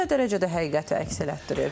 Bu nə dərəcədə həqiqəti əks etdirir?